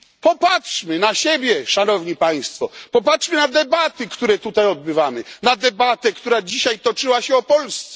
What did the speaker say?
Popatrzmy na siebie, Szanowni Państwo, popatrzmy na debaty, które tutaj odbywamy, na debatę, która dzisiaj toczyła się o Polsce.